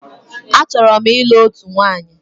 Achọrọ m ịlụ òtù nwaanyi.